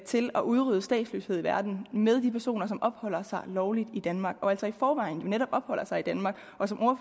til at udrydde statsløshed i verden med de personer der opholder sig lovligt i danmark altså i forvejen netop opholder sig i danmark og som